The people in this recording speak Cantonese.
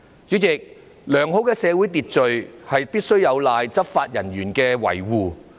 主席，良好的社會秩序，必須有賴執法人員的維護。